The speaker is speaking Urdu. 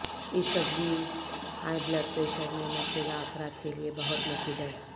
اس سبزی ہائی بلڈ پریشر میں مبتلا افراد کے لئے بہت مفید ہے